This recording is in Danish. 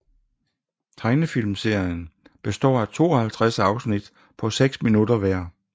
Tegnefilmserien består af 52 afsnit på 6 minutter hver